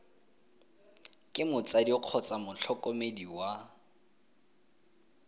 ke motsadi kgotsa motlhokomedi wa